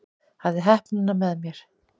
Hafði heppnina með mér